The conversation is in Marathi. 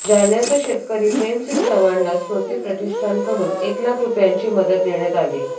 जालन्याचा शेतकरी प्रेमसिंग चव्हाणला स्मृती प्रतिष्ठानकडून एक लाख रुपयांची मदत देण्यात आली